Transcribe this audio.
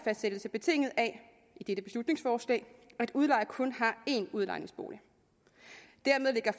betinget af at udlejer kun har én udlejningsbolig dermed lægger